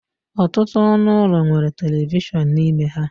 Ọtụtụ ọnụ ụlọ nwere telivishọn n'ime ha